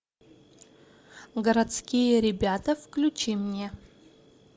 городские ребята включи мне